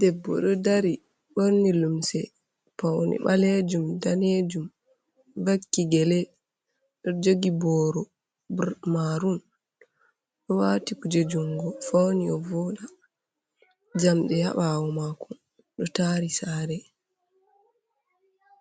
Debbo ɗo dari ɓorni limse paune ɓalejum, danejum vakki gele ɗo jogi boro marun, ɗo waati kuje jungo fauni o voda njamdi ha ɓawo mako ɗo tari sare.